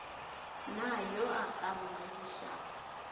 na yo a ka mmakišago